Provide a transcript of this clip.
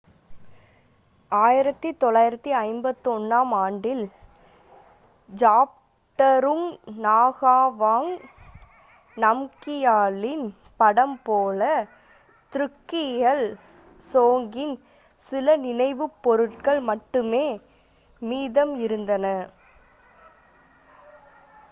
1951-ஆம் ஆண்டில் ஜாப்ட்ருங் நகாவாங் நம்கியாலின் படம் போல த்ருக்கியல் சோங்கின் சில நினைவுப் பொருட்கள் மட்டுமே மீதம் இருந்தன